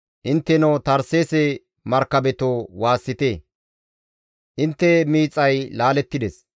Intteno Tarseese markabetoo, waassite! Intte miixay laalettides.